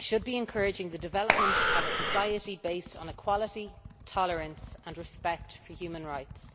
should be encouraging the development of a society based on equality, tolerance and respect for human rights.